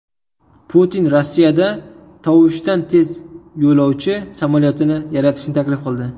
Putin Rossiyada tovushdan tez yo‘lovchi samolyotini yaratishni taklif qildi.